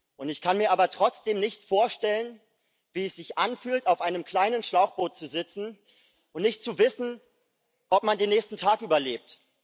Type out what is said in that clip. Und ich kann mir aber trotzdem nicht vorstellen, wie es sich anfühlt, auf einem kleinen Schlauchboot zu sitzen und nicht zu wissen, ob man den nächsten Tag überlebt.